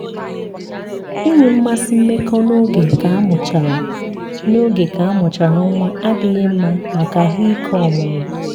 inwe mmasị mmekọ n'oge ka amụchara n'oge ka amụchara nwa adịghị mma maka ahụike ọmụmụ.